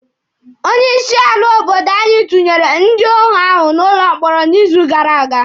Onye isi ala obodo anyị tunyere ndị óhù ahụ n'ụlọ mkpọrọ n'izu gara aga.